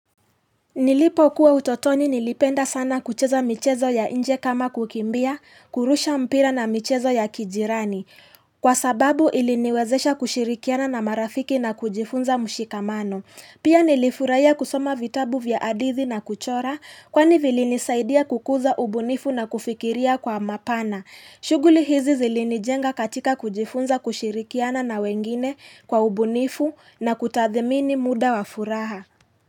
Nilipo kua utotoni nilipenda sana kucheza michezo ya inje kama kukimbia, kurusha mpira na michezo ya kijirani. Kwa sababu iliniwezesha kushirikiana na marafiki na kujifunza mshikamano. Pia nilifurahia kusoma vitabu vya hadithi na kuchora, kwani vilinisaidia kukuza ubunifu na kufikiria kwa mapana. Shugli hizi zilinijenga katika kujifunza kushirikiana na wengine kwa ubunifu na kutathmini muda wa furaha.